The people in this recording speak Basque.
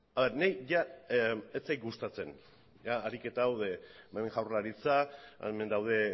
niri jada ez zait gustatzen ariketa hau hemen jaurlaritza hemen daude